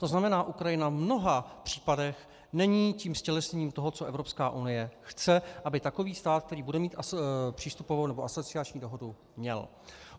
To znamená, Ukrajina v mnoha případech není tím ztělesněním toho, co Evropská unie chce, aby takový stát, který bude mít přístupovou nebo asociační dohodu, měl.